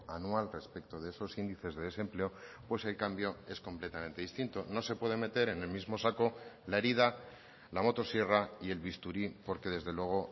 anual respecto de esos índices de desempleo pues el cambio es completamente distinto no se puede meter en el mismo saco la herida la motosierra y el bisturí porque desde luego